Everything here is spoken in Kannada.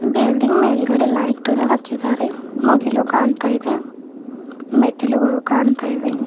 ಬಿಲ್ಡಿಂಗ್ ಮೇಲ್ಗಡೆ ಲೈಟ್ ಅನ್ನು ಹಚ್ಚಿದ್ದಾರೆ ಮುಗಿಲು ಕಾಣ್ತಾ ಇದೆ ಮೆಟ್ಟಿಲುಗಳು ಕಾಣ್ತಾ ಇವೆ.